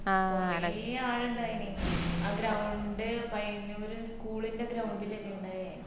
കൊറെ ആളിണ്ടായിനി ആ ground പയ്യന്നൂര് school ന്ടെ ground ലല്ലേ ഇണ്ടയെ